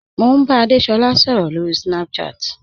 Mo n bá Adésolá sọ̀rọ̀ lórí Snapchat.